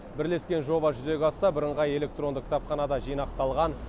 бірлескен жоба жүзеге асса бірыңғай электронды кітапханада жинақталған